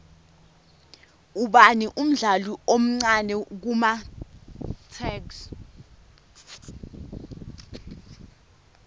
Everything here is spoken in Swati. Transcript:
ubani umdlali omcani kumatuks